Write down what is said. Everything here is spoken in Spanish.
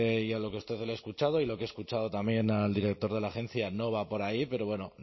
y lo que a usted le he escuchado y lo que le he escuchado también al director de la agencia no va por ahí pero bueno